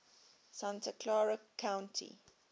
santa clara county